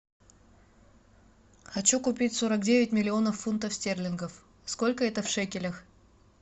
хочу купить сорок девять миллионов фунтов стерлингов сколько это в шекелях